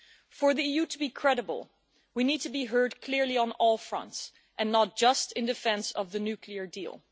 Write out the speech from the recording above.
For the EU to be credible, we need to be heard clearly on all fronts, and not just in defence of the nuclear deal.